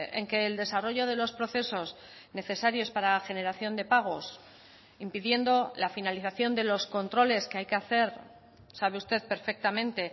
en que el desarrollo de los procesos necesarios para la generación de pagos impidiendo la finalización de los controles que hay que hacer sabe usted perfectamente